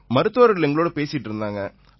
மருத்துவர்கள் எங்களோட பேசிட்டு இருந்தாங்க